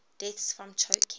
deaths from choking